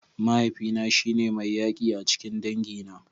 Mahaifina shi ne mai yaki a cikin dangina.